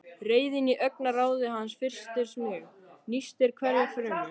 Reiðin í augnaráði hans frystir mig, nístir hverja frumu.